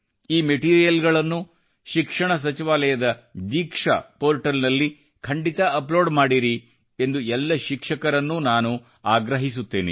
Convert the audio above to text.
ಈ ಮಟಿರೀಯಲ್ ನ್ನು ಶಿಕ್ಷಣ ಸಚಿವಾಲಯದ ದೀಕ್ಷಾ ಪೋರ್ಟಲ್ ಲ್ಲಿ ಖಂಡಿತ ಅಪ್ ಲೋಡ್ ಮಾಡಿರಿ ಎಂದು ಎಲ್ಲ ಶಿಕ್ಷಕರಿಗೆ ಆಗ್ರಹಿಸುತ್ತೇನೆ